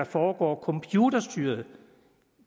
foregår computerstyret